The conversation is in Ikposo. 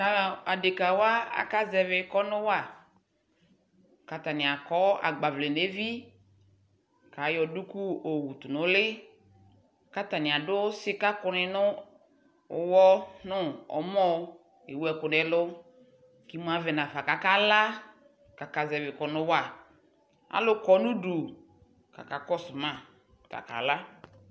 adɛka wa aka zɛvi kɔnʋ wa kʋ atani akɔ agbavlɛ nʋ ɛvi kʋ ayɔ dʋkʋ yɔ wʋtʋ nʋ ʋli kʋ atani adʋ sika kʋni nʋ ʋwɔ nʋ ɔmɔ kʋ ɛwʋ ɛkʋ nʋ ɛmɔ kʋ imʋ avɛ nʋ aƒa kʋ aka la kʋ aka zɛvi kɔnʋ wa, alʋ kɔnʋ ʋdʋ kʋ aka kɔsʋ ma kʋ aka la